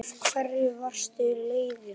Af hverju varstu leiður?